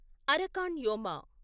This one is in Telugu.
అరకాన్ యోమా